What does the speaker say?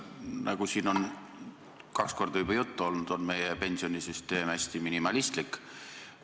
Nagu siin on kaks korda juba juttu olnud, on meie pensionisüsteem hästi minimalistlik.